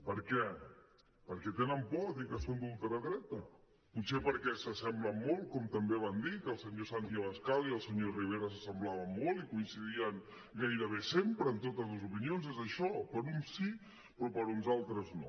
per què perquè tenen por a dir que són d’ultradreta potser perquè s’assemblen molt com també van dir que el senyor santi abascal i el senyor rivera s’assemblaven molt i coincidien gairebé sempre en totes les opinions és això per a uns sí però per a uns altres no